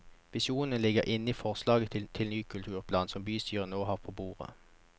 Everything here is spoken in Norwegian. Visjonene ligger inne i forslaget til ny kulturplan som bystyret nå får på bordet.